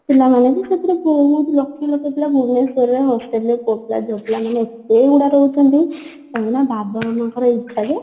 ପିଲାମାନେ ବି ସେଥିରେ ବହୁତ ଲକ୍ଷ ଲକ୍ଷ ପିଲା ଭୁବନେଶ୍ଵରରେ hostel ରେ ପୁଅ ପିଲା ଝିଅ ପିଲା ମାନେ ଏତେ ଗୁଡା ରହୁଛନ୍ତି କାହିଁକି ନା ବାବା ମାମାଙ୍କର ଇଛା ଯେ